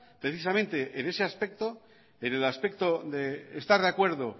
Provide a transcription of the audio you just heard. precisamente en ese aspecto en el aspecto de estar de acuerdo